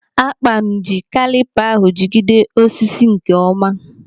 Akpan ji kalipa ahụ jigide osisi nke ọma.